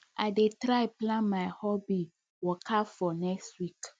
i dey try plan my hobby wakafor next week